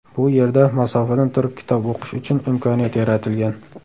Bu yerda masofadan turib kitob o‘qish uchun imkoniyat yaratilgan.